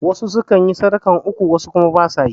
Wasu sukan yi sadakan uku wasu kuma ba su yi